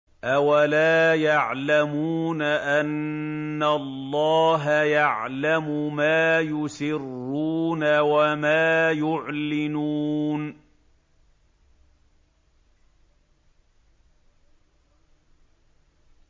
أَوَلَا يَعْلَمُونَ أَنَّ اللَّهَ يَعْلَمُ مَا يُسِرُّونَ وَمَا يُعْلِنُونَ